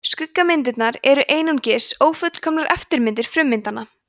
skuggamyndirnar eru einungis ófullkomnar eftirmyndir frummyndanna